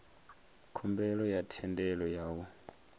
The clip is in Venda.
khumbelo ya thendelo ya u